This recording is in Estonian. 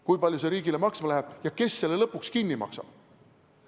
Kui palju see riigile maksma läheb ja kes selle lõpuks kinni maksab?